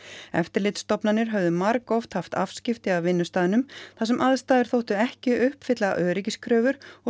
eftirlitsstofnanir höfðu margoft haft afskipti af vinnustaðnum þar sem aðstæður þóttu ekki uppfylla öryggiskröfur og